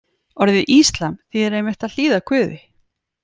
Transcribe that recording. Orðið íslam þýðir einmitt að hlýða Guði.